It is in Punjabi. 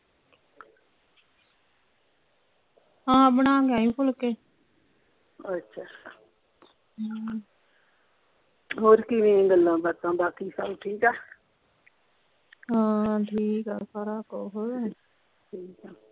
ਹਾਂ ਬਣਾ ਕੇ ਆਈ ਫੁਲਕੇ ਅੱਛਾ ਹਮ ਹੋਰ ਕਿਵੇਂ ਗੱਲਾਂ ਬਾਤਾਂ ਬਾਕੀ ਸਬ ਠੀਕ ਆ ਹਾਂ ਠੀਕ ਆ ਸਾਰ ਕੁਹ